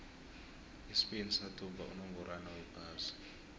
ispain sathumba unongorwond wephasi